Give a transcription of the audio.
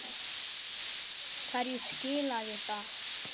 Hvernig viltu svara því?